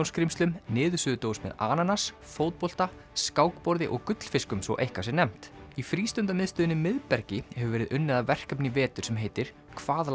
skrímslum niðursuðudós með ananas fótbolta skákborði og gullfiskum svo eitthvað sé nefnt í frístundamiðstöðinni miðbergi hefur verið unnið að verkefni í vetur sem heitir hvað